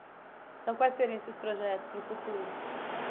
Então quais seriam esses projetos para o futuro?